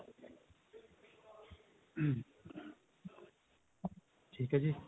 ਠੀਕ ਹੈ ਜੀ